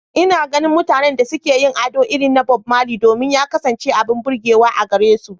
Ina ganin mutanen da suke yin ado irin na Bob Marley domin ya kasance abin burgewa a gare su.